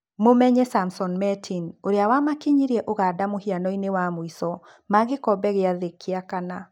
Mũmenye Samson Mertin ũrĩa wamakinyirie Ũganda mũhianoinĩ wa mũico ma gĩkombe gĩa thĩ gĩa kana.